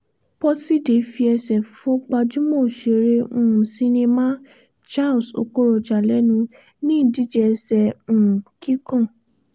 pọ́tidé fi ẹsẹ̀ fọ gbajúmọ̀ òṣèré um sinimá charles okocha lẹ́nu ní ìdíje ẹsẹ um kíkàn